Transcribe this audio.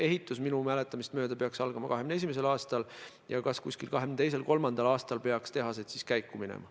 Ehitus peaks minu mäletamist mööda algama 2021. aastal ja 2022.-2023. aastal peaks tootmine algama.